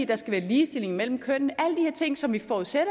der skal være ligestilling mellem kønnene alle ting som vi forudsætter